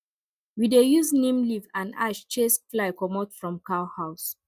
we dey use neem leaf and ash chase fly comot from cow house